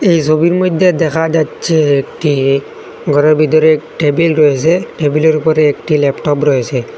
এই ছবির মধ্যে দেখা যাচ্ছে একটি ঘরের ভিতর টেবিল রয়েসে টেবিলের উপরে একটি ল্যাপটপ রয়েসে।